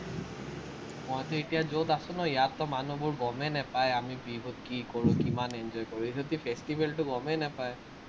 মই যে এতিয়া যত আছো নহয়, ইয়াততো মানুহবোৰ গমেই নাপায়, আমি বিহুত কি কৰোঁ, কিমান enjoy কৰোঁ। এইটোতো festival টো গমেই নাপায়।